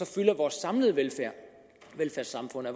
fylde af vores samlede velfærdssamfund af